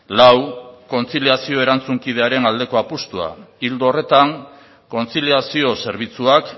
lau kontziliazio erantzunkidearen aldeko apustua ildo horretan kontziliazio zerbitzuak